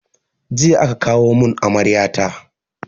Jiya aka kawo mun amarya ta